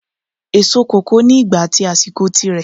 Èso kòkó ni ìgbà at àsìkò tí rẹ